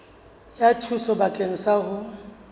ya thuso bakeng sa ho